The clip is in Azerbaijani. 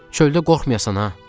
Çöldə qorxmayasan ha.